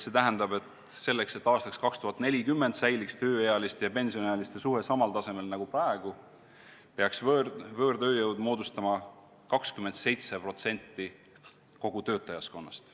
Selleks, et aastaks 2040 säiliks tööealiste ja pensionäride suhe samal tasemel nagu praegu, peaks võõrtööjõud moodustama 27% kogu töötajaskonnast.